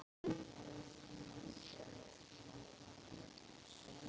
Hvað skyldi það hafa verið?